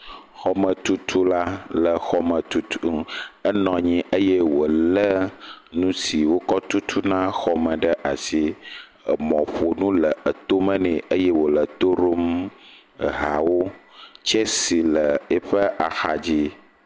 Xɔme tutula le xɔme tutum, enɔnyi eye wo lé nusi wo kɔ tutuna xɔme ɖe asi, emɔ ƒo nu le etome nee eye wole to ɖom ehawo, tsesi le eƒe axa dzi.